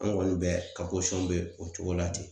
An kɔni bɛɛ ka posɔn be o cogo la ten